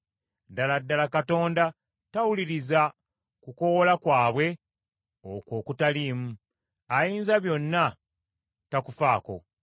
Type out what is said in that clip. Ddala ddala Katonda tawuliriza kukoowoola kwabwe okwo okutaliimu; Ayinzabyonna takufaako.